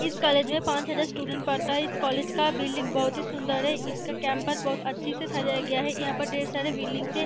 इस कॉलेज में पाँच हजार स्टूडेंट पढ़ता है इस कॉलेज का बिल्डिंग बहुत ही सुंदर है इसका कैंपस बहुत अच्छे से सजाया गया है यहाँ पे ढ़ेर सारे बिल्डिंग्स हैं।